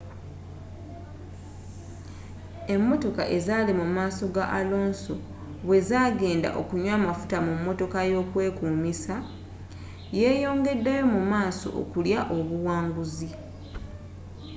emotoka ezaali mu maaso ga alonso bwe zagenda okunywa amafuta mu motoka yokwekumisa yeyongeddeyo mu maaso okulya obuwanguzi